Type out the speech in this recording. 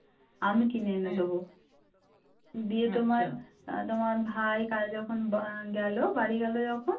তোমার ভাই কাল যখন গেল বাড়ী গেল যখন